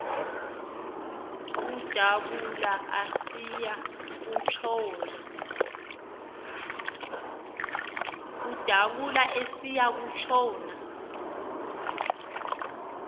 udabula esiya kutshona